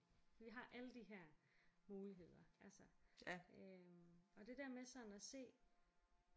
Vi har alle de her muligheder altså øh og det der med sådan at se